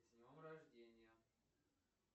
с днем рождения